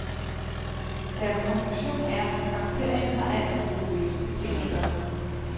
Deres konklusion er, at bakterien har alt for gode vækstbetingelser.